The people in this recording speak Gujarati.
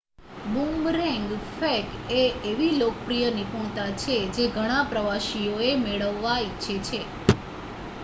બૂમરેંગ ફેંક એ એવી લોકપ્રિય નિપુણતા છે જે ઘણાં પ્રવાસીઓ મેળવવા ઇચ્છે છે